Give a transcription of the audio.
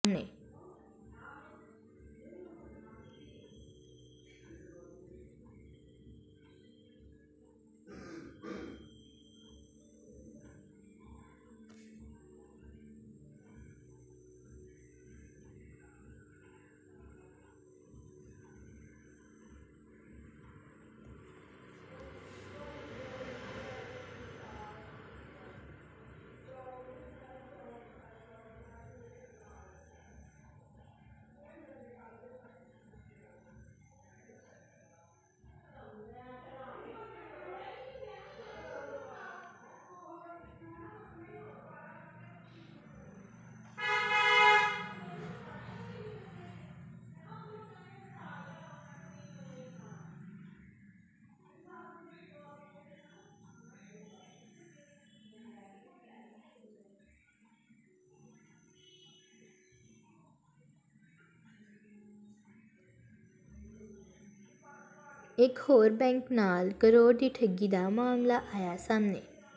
ਇਕ ਹੋਰ ਬੈਂਕ ਨਾਲ ਕਰੋੜ ਦੀ ਠੱਗੀ ਦਾ ਮਾਮਲਾ ਆਇਆ ਸਾਹਮਣੇ